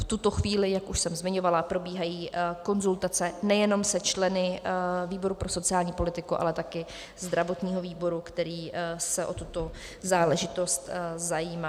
V tuto chvíli, jak už jsem zmiňovala, probíhají konzultace nejenom se členy výboru pro sociální politiku, ale také zdravotního výboru, který se o tuto záležitost zajímá.